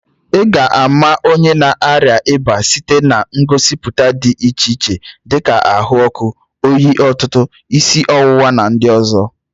Ị ga-ama onye na-arịa ịba site na ngosipụta dị iche iche dịka ahụ ọkụ, oyi ọtụtụ, isi ọwụwa na ndị ọzọ.